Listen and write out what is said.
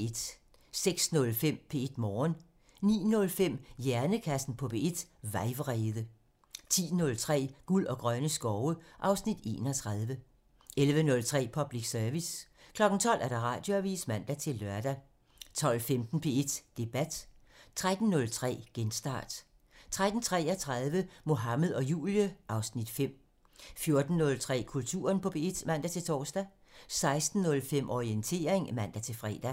06:05: P1 Morgen (Afs. 246) 09:05: Hjernekassen på P1: Vejvrede (Afs. 40) 10:03: Guld og grønne skove (Afs. 31) 11:03: Public Service 12:00: Radioavisen (man-lør) 12:15: P1 Debat (Afs. 40) 13:03: Genstart (Afs. 172) 13:33: Mohammed og Julie (Afs. 5) 14:03: Kulturen på P1 (man-tor) 16:05: Orientering (man-fre)